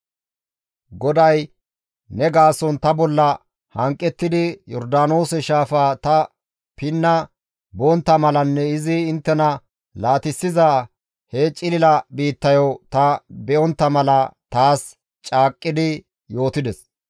«GODAY ne gaason ta bolla hanqettidi Yordaanoose shaafa ta pinna bontta malanne izi inttena laatissiza he cilila biittayo ta be7ontta mala taas caaqqi yootides.